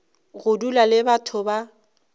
go dula le batho ba